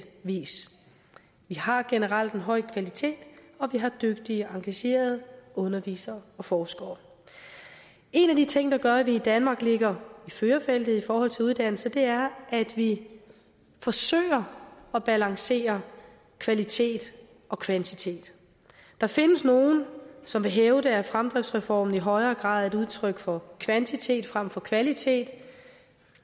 vis vi har generelt en høj kvalitet og vi har dygtige engagerede undervisere og forskere en af de ting der gør at vi i danmark ligger i førerfeltet i forhold til uddannelse er at vi forsøger at balancere kvalitet og kvantitet der findes nogle som vil hævde at fremdriftsreformen i højere grad et udtryk for kvantitet frem for kvalitet